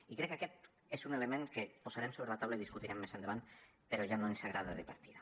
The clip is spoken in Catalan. i crec que aquest és un element que posarem sobre la taula i discutirem més endavant però ja no ens agrada de partida